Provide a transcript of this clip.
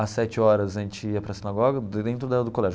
Às sete horas, a gente ia para sinagoga, dentro da do colégio.